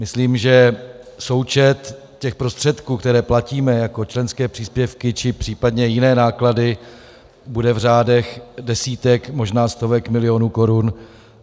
Myslím, že součet těch prostředků, které platíme jako členské příspěvky či případně jiné náklady, bude v řádech desítek, možná stovek milionů korun.